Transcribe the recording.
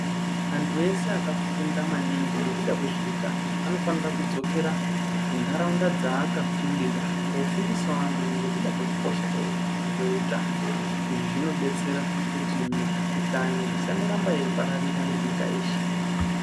Anthu ese akafunda maningi nekuda kwezveutano anofanira kudzokera kuntharaunda dzaakafundira koofundisao amweni nekuda kwekukosha kweutano izvi zvinodetsera kuti mikuhlani isandoramba yeipararira nenyika yeshe .